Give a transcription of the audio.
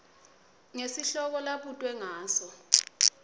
ngesihloko labutwe ngaso